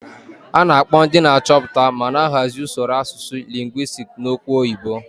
A na-akpọ ndị na-achọpụta ma na-ahazi usoro asụsụ lingwisiti n'okwu oyibo.